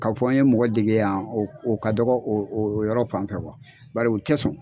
K'a fɔ n ye mɔgɔ dege yan o o ka dɔgɔ o o yɔrɔ fan fɛ bari o tɛ sɔn